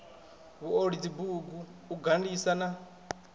vhuoli dzibugu u gandisa na